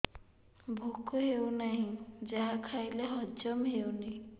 ଭୋକ ହେଉନାହିଁ ଯାହା ଖାଇଲେ ହଜମ ହଉନି